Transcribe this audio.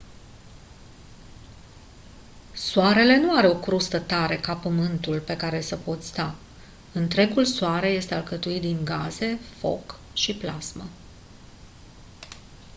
soarele nu are o crustă tare ca pământul pe care să poți sta întregul soare este alcătuit din gaze foc și plasmă